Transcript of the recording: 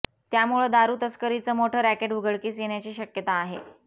त्यामुळं दारू तस्करीचं मोठ रॅकेट उघडकीस येण्याची शक्यता आहे